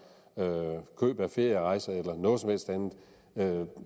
køb af ferierejser eller noget som helst andet